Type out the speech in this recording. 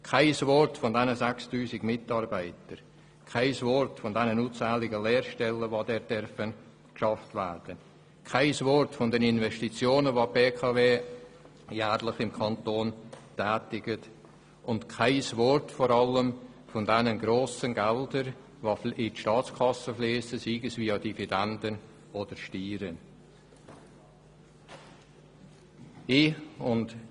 Kein Wort von den 6000 Mitarbeitern und von den unzähligen Lehrstellen, die von der BKW angeboten werden, oder von den Investitionen, die sie jährlich im Kanton Bern tätigt und vor allem auch von den grossen Geldbeträgen, die in die Staatskasse fliessen, sei es via Dividenden, oder sei es via Steuern.